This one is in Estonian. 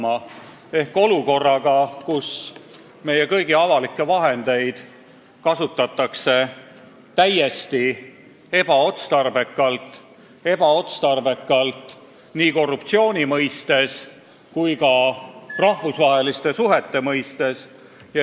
Mida me peame tegema olukorras, kus meie kõigi raha kasutatakse täiesti ebaotstarbekalt, võimaldades ka korruptsiooni ja mõjutades rahvusvahelisi suhteid?